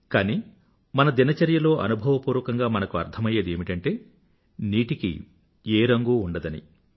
కానీ మన దినచర్యలో అనుభవపూర్వకంగా మనకు అర్థమయ్యేది ఏమిటంటే నీటికి ఏ రంగూ ఉండదని